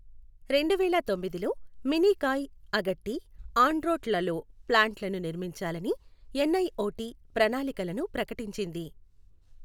రెండువేల తొమ్మిదిలో, మినీకాయ్, అగట్టి, ఆండ్రోట్లలో ప్లాంట్లను నిర్మించాలని ఎన్ఐఓటి ప్రణాళికలను ప్రకటించింది.